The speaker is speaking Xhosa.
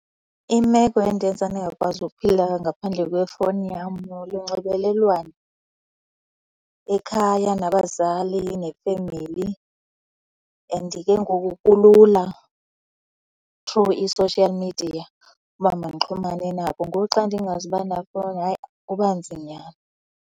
Imeko endenza ndingakwazi ukuphila ngaphandle kwefowuni yam lunxibelelwano ekhaya nabazali nefemeli and ke ngoku kulula through i-social media uba mandixhulumane nabo. Ngoku xa ndingazuba nafowni, hayi, kuba nzinyana.